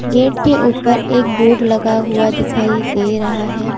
Gate के ऊपर एक बोर्ड लगा हुआ दिखाई दे रहा है।